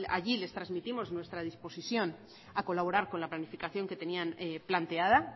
allí les trasmitimos nuestra disposición a colaborar con la planificación que tenían planteada